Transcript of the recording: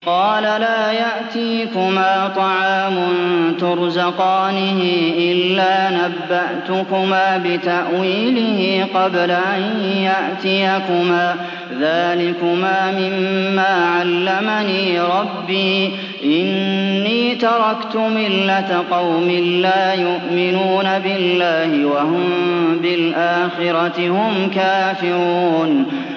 قَالَ لَا يَأْتِيكُمَا طَعَامٌ تُرْزَقَانِهِ إِلَّا نَبَّأْتُكُمَا بِتَأْوِيلِهِ قَبْلَ أَن يَأْتِيَكُمَا ۚ ذَٰلِكُمَا مِمَّا عَلَّمَنِي رَبِّي ۚ إِنِّي تَرَكْتُ مِلَّةَ قَوْمٍ لَّا يُؤْمِنُونَ بِاللَّهِ وَهُم بِالْآخِرَةِ هُمْ كَافِرُونَ